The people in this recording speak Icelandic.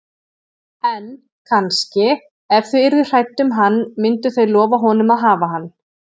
En, kannski, ef þau yrðu hrædd um hann myndu þau lofa honum að hafa hann.